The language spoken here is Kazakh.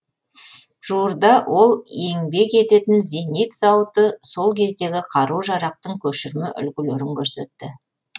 жуырда ол еңбек ететін зенит зауыты сол кездегі қару жарақтың көшірме үлгілерін көрсетті